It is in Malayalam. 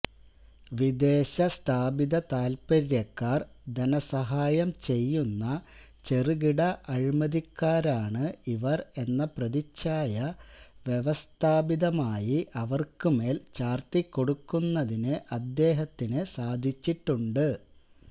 വിദേശ സ്ഥാപിതതാല്പര്യക്കാര് ധനസഹായം ചെയ്യുന്ന ചെറുകിട അഴിമതിക്കാരാണ് ഇവര് എന്ന പ്രതിച്ഛായ വ്യവസ്ഥാപിതമായി അവര്ക്ക് മേല് ചാര്ത്തിക്കൊടുക്കുന്നതിന് അദ്ദേഹത്തിന് സാധിച്ചിട്ടുണ്ട്